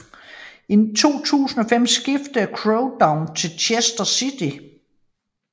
I 2005 skiftede Craig Dove til Chester City